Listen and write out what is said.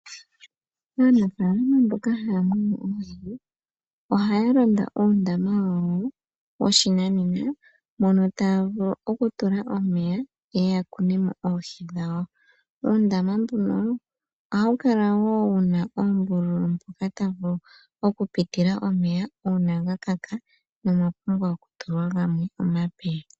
Aanafaalama mboka haya munu oohi, ohaya landa uundama wawo woshinanena mono taya vulu okutula omeya ya kune mo oohi dhawo. Uundama mbuno ohawu kala wu na oombululu mpoka tapu vulu okupitila omeya uuna ga kaka nomwapumbwa okutulwa gamwe omape.